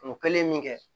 O kɛlen min kɛ